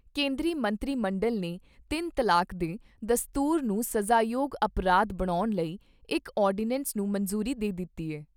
ਕੇਂਦਰੀ ਮੰਤਰੀ ਮੰਡਲ ਨੇ ਤਿੰਨ ਤਲਾਕ ਦੇ ਦਸਤੂਰ ਨੂੰ ਸਜ਼ਾਯੋਗ ਅਪਰਾਧ ਬਣਾਉਣ ਲਈ ਇਕ ਆਰਡੀਨੈਂਸ ਨੂੰ ਮਨਜ਼ੂਰੀ ਦੇ ਦਿੱਤੀ ਏ।